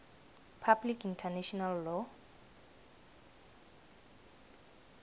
public international law